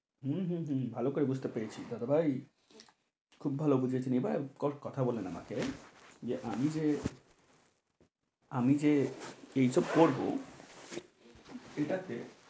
হম হম হম ভালো করে বুঝতে পেরেছি দাদাভাই খুব ভালো বুঝেছি এবার কথা বলেন আমাকে যে আমি যে আমি যে এই সব করবো ঠিক আছে,